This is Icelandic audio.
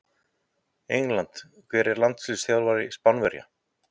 England Hver er landsliðsþjálfari Spánverja?